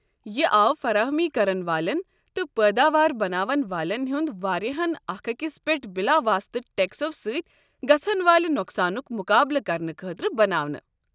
یہِ آو فراہمی كرن والٮ۪ن تہٕ پٲداوار بناون والین ہنٛد وارِیاہن اكھ اكِس پیٹھ بِلاواسطہٕ ٹیكسو سٕتۍ گژھن والہِ نۄقسانُک مُقابلہٕ كرنہٕ خٲطرٕ بناونہٕ۔